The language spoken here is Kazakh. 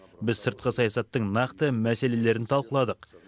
біз сыртқы саясаттың нақты мәселелерін талқыладық